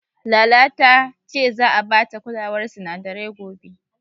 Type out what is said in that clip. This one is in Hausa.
Lala ta ce za'a bata kulawar sinadarai gobe.